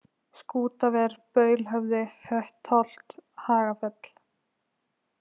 Skútaver, Baulhöfði, Höttholt, Hagafell